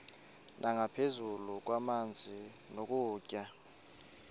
nangaphezu kwamanzi nokutya